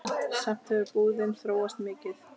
Samt hefur búðin þróast mikið.